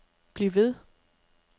bliv ved